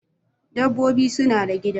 Dabbobi suna da gida